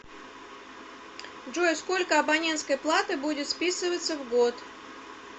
джой сколько абонентской платы будет списываться в год